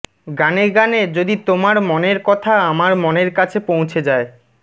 গানে গানে যদি তোমার মনের কথা আমার মনের কাছে পৌঁছে যায়